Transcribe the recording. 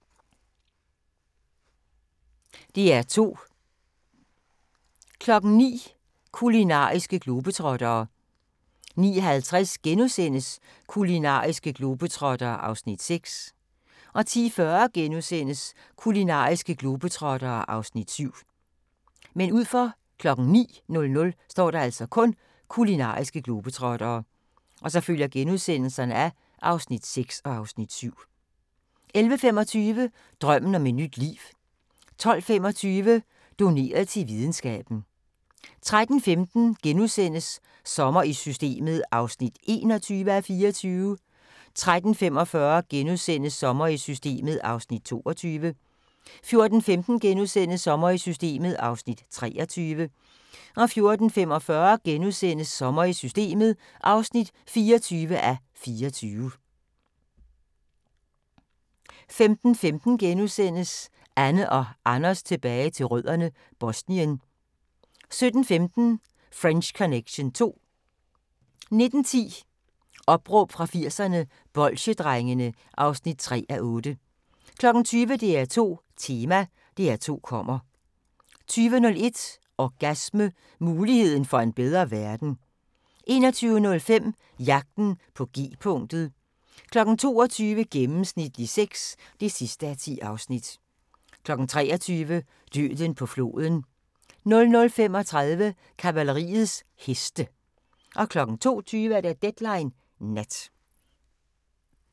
DR2